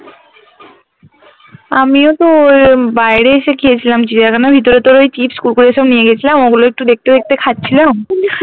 আমিও তো ওই বাইরে এসে খেয়েছিলাম চিড়িয়াখানার ভিতরে ওই chips কুড়কুড়ে এসব নিয়ে গেছিলাম ওগুলা একটু দেখতে দেখতে খাচ্ছিলাম